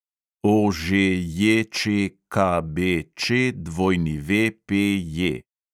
OŽJČKBČWPJ